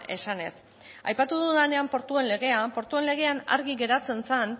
esanez aipatu dudanean portuen legea portuen legean argi geratzen zen